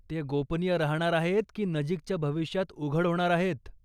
ते गोपनीय राहणार आहेत की नजीकच्या भविष्यात उघड होणार आहेत?